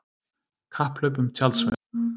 Kapphlaup um tjaldsvæði